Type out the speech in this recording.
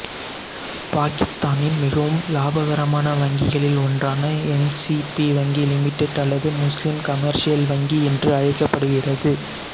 பாக்கித்தானின் மிகவும் இலாபகரமான வங்கிகளில் ஒன்றான எம்சிபி வங்கி லிமிடெட் அல்லது முஸ்லீம் கமர்சியல் வங்கி என்று அழைக்கப்படுகிறது